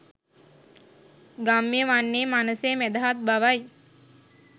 ගම්‍ය වන්නේ මනසේ මැදහත් බවයි.